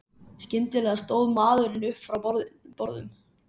Skyndilega stóð maðurinn upp frá borðum.